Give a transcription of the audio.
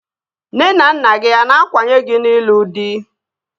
Nne na nna gị a na-akwanye gị n'ịlụ dị?